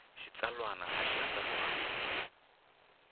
xitsalwana a xi andlariwangi hi